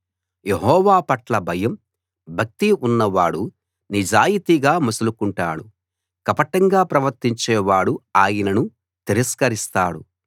యెహోవాపట్ల భయం భక్తి ఉన్నవాడు నిజాయితీగా మసులుకుంటాడు కపటంగా ప్రవర్తించే వాడు ఆయనను తిరస్కరిస్తాడు